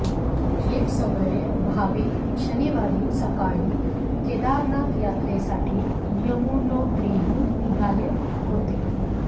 हे सगळे भाविक शनिवारी सकाळी केदारनाथ यात्रेसाठी यमुनोत्रीहून निघाले होते